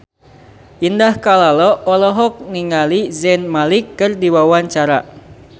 Indah Kalalo olohok ningali Zayn Malik keur diwawancara